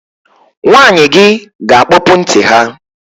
Nwanyị gi ga-akpọpụ ntị ha